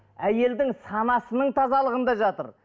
әйелдің санасының тазалығында жатыр